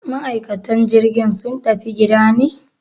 Ma'aikatan jirgi sun tafi gida ne?